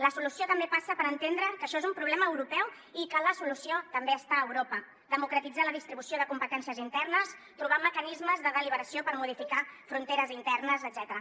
la solució també passa per entendre que això és un problema europeu i que la solució també està a europa democratitzar la distribució de competències internes trobar mecanismes de deliberació per modificar fronteres internes etcètera